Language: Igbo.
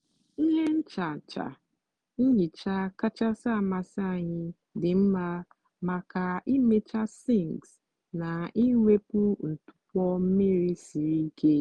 ihe nchacha nhicha kachasị amasị anyị dị mma maka ịmecha sinks na iwepu ntụpọ mmiri siri ike.